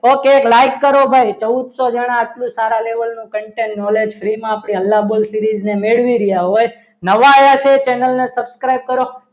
okay એક like કરો ભાઈ ચૌદસો જણા આવું સારા level નું content knowledge free માં પહેલા બોલ series માં મેળવી રહ્યા હોય નવા આવ્યા છે તે channel ને subscribe કરો.